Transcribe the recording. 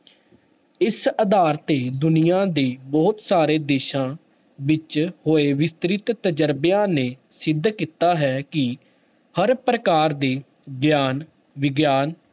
ਇਸ ਆਧਾਰ ਤੇ ਦੁਨੀਆਂ ਦੇ ਬਹੁਤ ਸਾਰੇ ਦੇਸਾਂ ਵਿੱਚ ਹੋਏ ਵਿਸਤ੍ਰਿਤ ਤਜ਼ਰਬਿਆਂ ਨੇ ਸਿੱਧ ਕੀਤਾ ਹੈ ਕਿ ਹਰ ਪ੍ਰਕਾਰ ਦੇ ਗਿਆਨ, ਵਿਗਿਆਨ